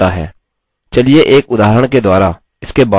चलिए एक उदाहरण के द्वारा इसके बारे में और अधिक जानते हैं